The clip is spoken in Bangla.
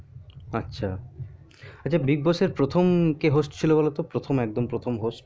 আচ্ছা আচ্ছা big boss এর প্রথম কে host ছিল বোলো তো একদম প্রথম host